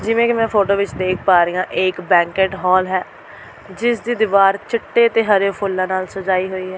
ਜਿਵੇਂ ਕਿ ਮੈਂ ਫੋਟੋ ਵਿਚ ਦੇਖ ਪਾ ਰਹੀ ਹਾਂ ਇਹ ਇੱਕ ਬੈਂਕੇਟ ਹਾਲ ਹੈ ਜਿਸ ਦੀ ਦੀਵਾਰ ਚਿੱਟੇ ਤੇ ਹਰੇ ਫੁੱਲਾਂ ਨਾਲ ਸਜਾਈ ਹੋਈ ਹੈ।